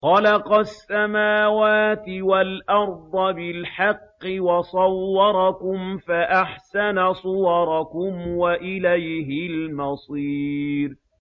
خَلَقَ السَّمَاوَاتِ وَالْأَرْضَ بِالْحَقِّ وَصَوَّرَكُمْ فَأَحْسَنَ صُوَرَكُمْ ۖ وَإِلَيْهِ الْمَصِيرُ